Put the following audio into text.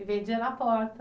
E vendia na porta.